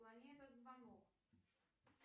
отклони этот звонок